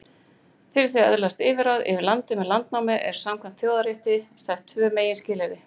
Fyrir því að öðlast yfirráð yfir landi með landnámi eru samkvæmt þjóðarétti sett tvö meginskilyrði.